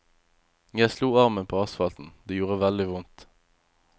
Jeg slo armen på asfalten, det gjorde veldig vondt.